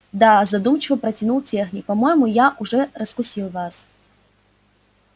да задумчиво протянул техник по-моему я уже раскусил вас